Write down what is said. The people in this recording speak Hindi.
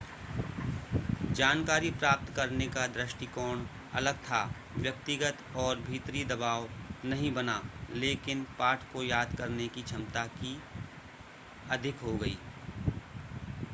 जानकारी प्राप्त करने का दृष्टिकोण अलग था व्यक्तिगत तौर भीतरी दबाव नहीं बना लेकिन पाठ को याद करने की क्षमता की अधिक हो गई